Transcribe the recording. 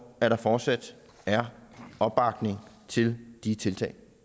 at der fortsat er opbakning til de tiltag